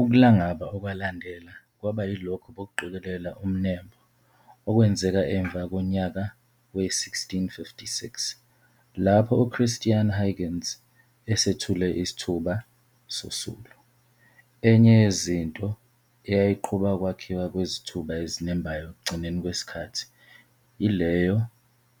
Ukulangaba okwalandela kwaba yilokho bokuqikelela umnembo okwenzeka emva konyaka we-1656, lapho uChristiaan Huygens esethule isithuba sosulu. Enye yezinto eyayiqhuba ukwakhiwa kwezithuba ezinembhayo ekugcinweni kwesikhathi, ileyo